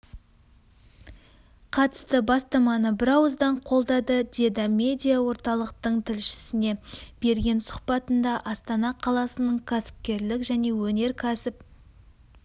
қатысты бастаманы бірауыздан қолдады деді медиа орталықтың тілшісіне берген сұхбатында астана қаласының кәсіпкерлік және өнеркәсіп